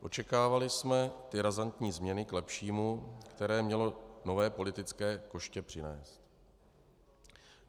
Očekávali jsme ty razantní změny k lepšímu, které mělo nové politické koště přinést.